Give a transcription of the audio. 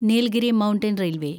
Nilgiri mountain railway